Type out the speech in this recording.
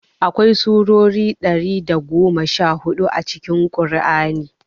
Akwai surori ɗari da goma sha hudu a cikin ƙur'ani